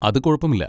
അത് കുഴപ്പമില്ല.